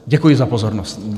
Děkuji za pozornost.